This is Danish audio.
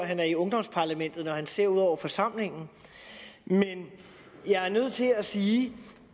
han er i ungdomsparlamentet når han ser ud over forsamlingen men jeg er nødt til at sige